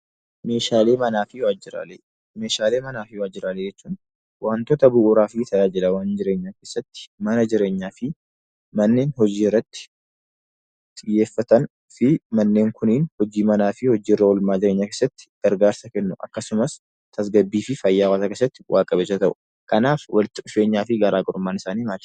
Meeshalee manaafi wajjiralee; meeshalee manaafi wajjiralee jechuun wantoota bu'uuraf tajaajilawwan jireenyaa keessati mana jireenyaafi manneen hojii irraatti xiyyeeffatanifi manneen Kunin hojii manafi hojii irraa olmaa jireenya keessati gargaarsa Kennu, akkasumas tasgabbifi fayyaa hawaasa keessati bu'a qabeessa ta'u. kanaaf walitti dhufeenyaafi garagarummaan isaani maali?